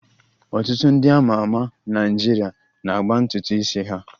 Ọtụtụ ndị a ma ama na Naịjirịa na-agba ntutu isi ha